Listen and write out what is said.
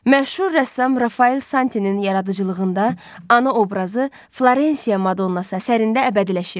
Məşhur rəssam Rafael Santinin yaradıcılığında ana obrazı Florensiya Madonnası əsərində əbədiləşib.